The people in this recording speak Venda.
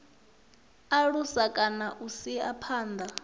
alusa kana u isa phanda